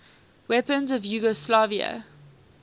weapons of yugoslavia